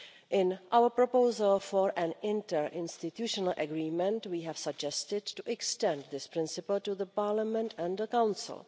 In our proposal for an interinstitutional agreement, we have suggested to extend this principle to the Parliament and the Council.